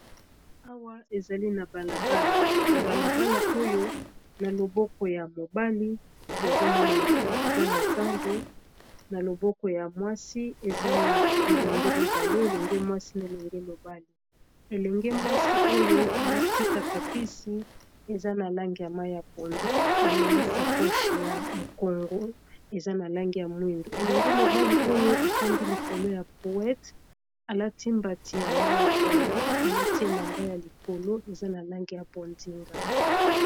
Awa ezali na balabalana balabala oyo na loboko ya mobali tozomona eza na zando na loboko ya mwasi eza na bilenge mibale elenge mwasi na elenge mobali elenge mwasi oyo alati katapisi eza na lange ya mai ya pondu, amenesa coshe ya mokongo eza na lange ya mwindu, elenge mobali oyo efandi likolo ya poete alati mbati ya mai ya pondu, alati elamba ya likolo eza na lange ya pondinga.